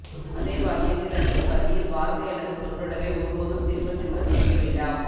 அதே வாக்கியத்தில் அல்லது பத்தியில் வார்த்தை அல்லது சொற்றொடரை ஒருபோதும் திரும்பத் திரும்ப செய்ய வேண்டாம்